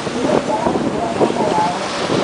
Mũirĩtu arathumbũra baba wao.